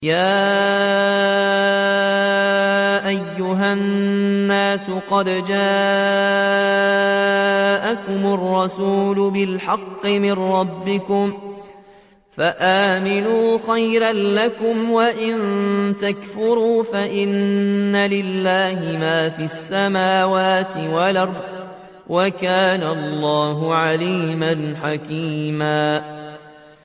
يَا أَيُّهَا النَّاسُ قَدْ جَاءَكُمُ الرَّسُولُ بِالْحَقِّ مِن رَّبِّكُمْ فَآمِنُوا خَيْرًا لَّكُمْ ۚ وَإِن تَكْفُرُوا فَإِنَّ لِلَّهِ مَا فِي السَّمَاوَاتِ وَالْأَرْضِ ۚ وَكَانَ اللَّهُ عَلِيمًا حَكِيمًا